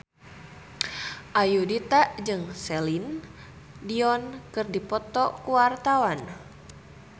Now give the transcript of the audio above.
Ayudhita jeung Celine Dion keur dipoto ku wartawan